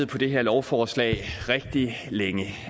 på det her lovforslag rigtig længe